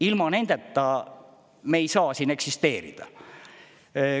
Ilma nendeta me ei saa siin eksisteerida.